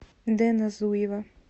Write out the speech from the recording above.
дэна зуева